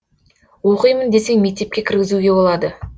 оқимын десең мектепке кіргізуге болады